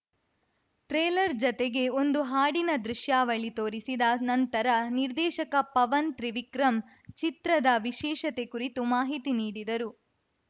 trailer ಜತೆಗೆ ಒಂದು ಹಾಡಿನ ದೃಶ್ಯಾವಳಿ ತೋರಿಸಿದ ನಂತರ ನಿರ್ದೇಶಕ ಪವನ್‌ ತ್ರಿವಿಕ್ರಮ್‌ ಚಿತ್ರದ ವಿಶೇಷತೆ ಕುರಿತು ಮಾಹಿತಿ ನೀಡಿದರು